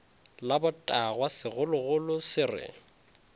la botagwa segologolo se re